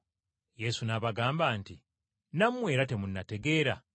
Yesu n’abagamba nti, “Nammwe era temunnategeera?